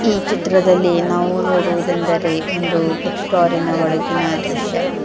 ಈ ಚಿತ್ರದಲ್ಲಿ ನಾವು ನೋಡುವುದೆಂದರೆ ಒಂದು ಬುಕ್ ಸ್ಟೋರ್ ಇನ ಒಳಗಿನ ದೃಶ್ಯ.